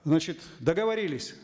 значит договорились